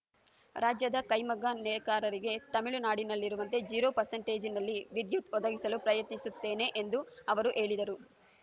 ರಾಜ್ಯದ ಕೈಮಗ್ಗ ನೇಕಾರರಿಗೆ ತಮಿಳು ನಾಡಿನಲ್ಲಿರುವಂತೆ ಜೀರೋ ಪರ್ಸಂಟೇಜಿನಲ್ಲಿ ವಿದ್ಯುತ್‌ ಒದಗಿಸಲು ಪ್ರಯತ್ನಿಸುತ್ತೇನೆ ಎಂದು ಅವರು ಹೇಳಿದರು